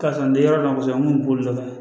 Karisa n tɛ yɔrɔ dɔn kosɛbɛ n kun bɛ boli nɔfɛ